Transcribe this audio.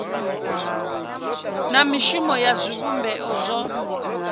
na mishumo ya zwivhumbeo zwo